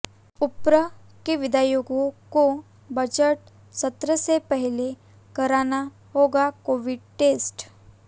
उप्र के विधायकों को बजट सत्र से पहले कराना होगा कोविड टेस्ट